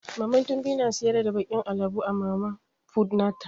Mama tobi na siyar da bakin alabo a mama fut nata.